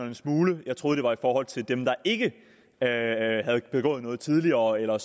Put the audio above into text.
en smule jeg troede det var i forhold til dem der ikke havde begået noget tidligere eller